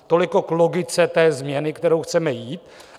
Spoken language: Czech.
Toliko k logice té změny, kterou chceme jít.